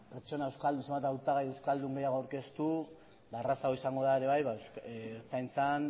hautagai euskaldun gehiago aurkeztu errazagoa izango da ere bai ertzaintzan